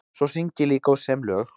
Svo syng ég líka og sem lög.